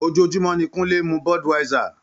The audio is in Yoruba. Ojoojúmọ́ ni Kunle ń mu Budweiser.